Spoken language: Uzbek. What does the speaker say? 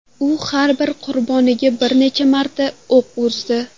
U har bir qurboniga bir necha martadan o‘q uzdi.